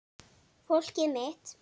Fólkið mitt.